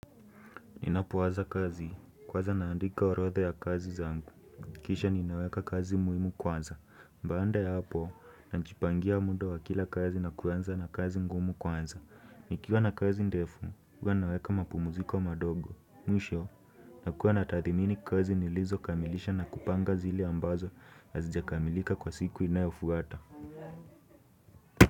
Ninapowaza kazi, kwanza naandika orodha ya kazi zangu. Kisha ninaweka kazi muhimu kwanza. Baada ya hapo, najipangia muda wa kila kazi na kuanza na kazi ngumu kwanza. Nikiwa na kazi ndefu, huwa naweka mapumuziko madogo. Mwisho, nakuwa na tathimini kazi nilizokamilisha na kupanga zile ambazo hazijakamilika kwa siku inayofuata.